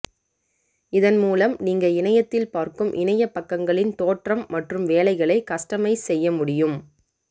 இதன் மூலம் நீங்க இணையத்தில் பார்க்கும் இணைய பக்கங்களின் தோற்றம் மற்றும் வேலைகளை கஸ்டமைஸ் செய்ய முடியும்